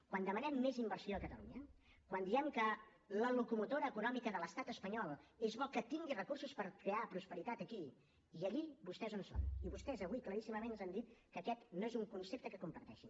quan demanem més inversió a catalunya quan diem que la locomotora econòmica de l’estat espanyol és bo que tingui recursos per crear prosperitat aquí i allí vostès on són i vostès avui claríssimament ens han dit que aquest no és un concepte que comparteixin